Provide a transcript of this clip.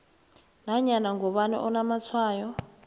nanyana ngubani onamatshwayo